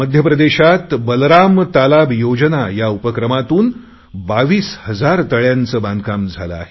मध्यप्रदेशात बलराम तालाब योजना या उपक्रमातून 22000 तळयांचे बांधकाम झाले आहे